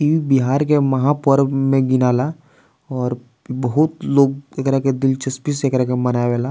ई बिहार के महापर्व मे गिनाला और बहुत लोग एकरा के दिलचस्पी से एकरा के मनावे ला।